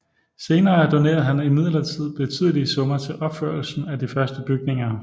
Senere donerede han imidlertid betydelige summer til opførelsen af de første bygninger